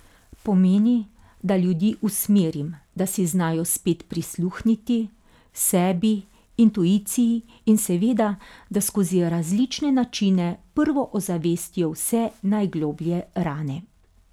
Pomeni, da ljudi usmerim, da si znajo spet prisluhniti, sebi, intuiciji in seveda, da skozi različne načine prvo ozavestijo vse najgloblje rane.